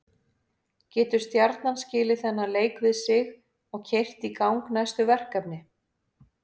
Getur Stjarnan skilið þennan leik við sig og keyrt í gang næstu verkefni?